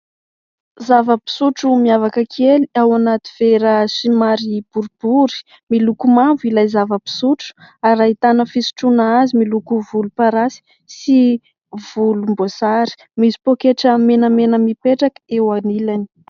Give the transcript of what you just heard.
Zava-pisotro miavaka kely ao anaty vera somary boribory, miloko mavo ilay zava-pisotro ary ahitana fisotroana azy miloko volomparasy sy volomboasary, misy pôketra menamena mipetraka eo anilany.